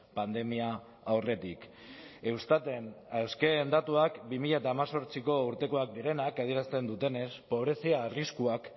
pandemia aurretik eustaten azken datuak bi mila hemezortziko urtekoak direnak adierazten dutenez pobrezia arriskuak